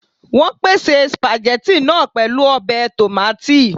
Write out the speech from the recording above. Wọ́n pèsè spaghetti náà pẹ̀lú ọbẹ̀ tòmátì